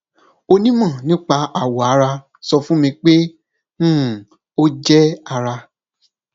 onímọ nípa awọ ara sọ fún mi pé um ó jẹ ara